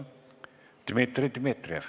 Dmitri Dmitrijev.